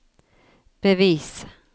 bevis